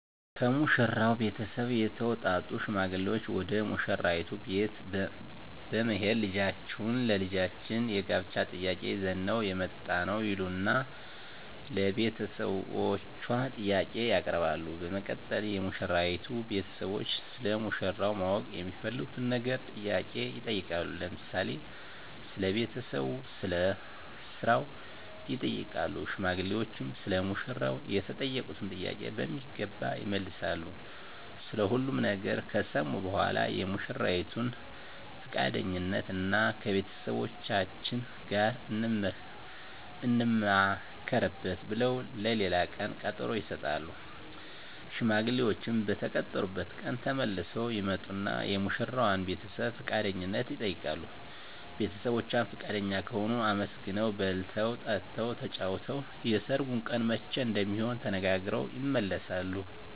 ከሙሽራው ቤተሰብ የተውጣጡ ሽማግሌዎች ወደ ሙሽራይቱ ቤት በመሄድ ልጃችሁን ለልጃችን የጋብቻ ጥያቄ ይዘን ነው የመጣነው ይሉና ለቤተሰቦቿ ጥያቄ ያቀርባሉ በመቀጠል የሙሽራይቱ ቤተሰቦች ስለ ሙሽራው ማወቅ የሚፈልጉትን ነገር ጥያቄ ይጠይቃሉ ለምሳሌ ስለ ቤተሰቡ ስለ ስራው ይጠይቃሉ ሽማግሌዎችም ሰለ ሙሽራው የተጠየቁትን ጥያቄ በሚገባ ይመልሳሉ ስለ ሁሉም ነገር ከሰሙ በኃላ የሙሽራይቱን ፍቃደኝነት እና ከቤተሰቦቻችን ጋር እንማከርበት ብለው ለሌላ ቀን ቀጠሮ ይሰጣሉ። ሽማግሌዎችም በተቀጠሩበት ቀን ተመልሰው ይመጡና የሙሽራዋን ቤተሰብ ፍቃደኝነት ይጠይቃሉ ቤተሰቦቿ ፍቃደኛ ከሆኑ አመስግነው በልተው ጠጥተው ተጫውተው የሰርጉ ቀን መቼ እንደሚሆን ተነጋግረው ይመለሳሉ።